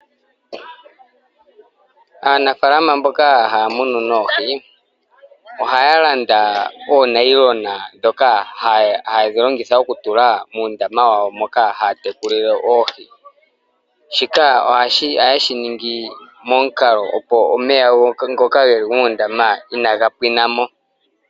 Aanafalama mboka haya munu noohi ohaya landa oonayilona ndhoka hayedhi longitha okutula muundama wawo moka haya tekulile oohi. Shika ohaye shi ningi momukalo opo omeya ngoka geli moondama inaga pwina mo.